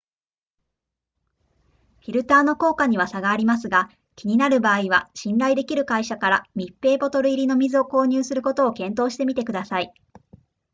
フィルターの効果には差がありますが気になる場合は信頼できる会社から密閉ボトル入りの水を購入することを検討してみてください